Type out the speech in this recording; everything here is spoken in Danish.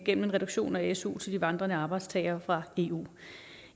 en reduktion af su til de vandrende arbejdstagere fra eu